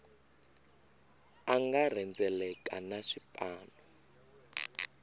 a nga rhendzeleka na swipanu